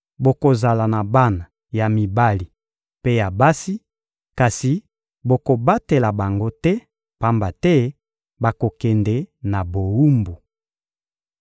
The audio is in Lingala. Bokozala na bana ya mibali mpe ya basi, kasi bokobatela bango te, pamba te bakokende na bowumbu.